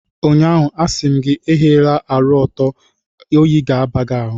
Ụnyaahụ, a sị m gị, ehila ụra ọtọ, oyi ga-aba gị ahụ